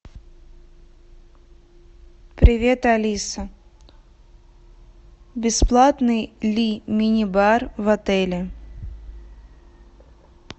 привет алиса бесплатный ли мини бар в отеле